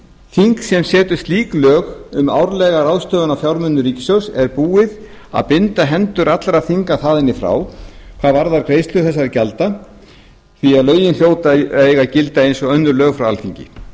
þing sem setur slík lög um árlega ráðstöfun á fjármunum ríkissjóðs er búið að binda hendur allra þinga þaðan í frá hvað varðar greiðslur þessara gjalda því að lögin hljóta að eiga að gilda eins og önnur lög frá alþingi